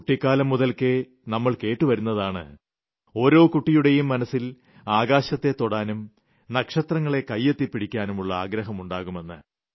കുട്ടിക്കാലം മുതൽക്കേ നമ്മൾ കേട്ട് വരുന്നതാണ് ഓരോ കുട്ടിയുടെയും മനസ്സിൽ ആകാശത്തെ തൊടാനും നക്ഷത്രങ്ങളെ കൈയെത്തിപിടിക്കാനുമുളള ആഗ്രഹം ഉണ്ടാകുമെന്ന